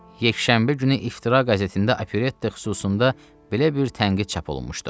Yekşənbə günü "İftira" qəzetində "Operetta" xüsusunda belə bir tənqid çap olunmuşdu.